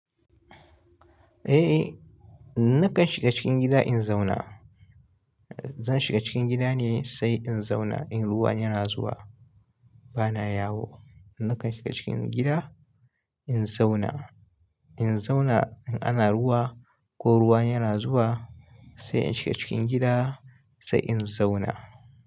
Eh nakan shiga cikin gida in zauna. Zan shiga cikin gida ne sai in zauna. In ruwan yana zuwa bana yawo. Nakan shiga cikin gida in zauna. In zauna in ana ruwa ko ruwa yana zuwa sai in shiga cikin gida sai in zauna.